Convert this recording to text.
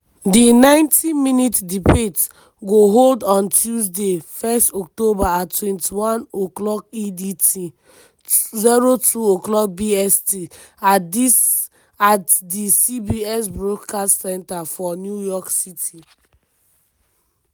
di 90-minute debate go hold on tuesday 1 october at 21:00 edt (02:00 bst) at di cbs broadcast center for new york city.